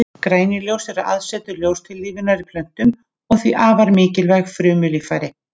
Grænukorn eru aðsetur ljóstillífunar í plöntum og því afar mikilvæg frumulíffæri.